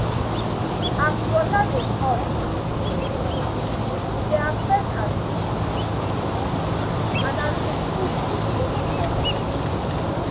as water de hot and cold e de affect as fish de chop and as d food de stay inside fish belle